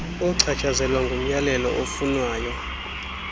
ochatshazelwa ngumyalelo ofunwayo